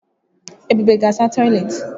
Ebube ga asa toịletị.